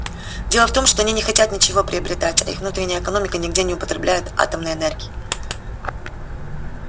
дело в том что они не хотят ничего приобретать а их внутренняя экономика нигде не употребляет атомной энергии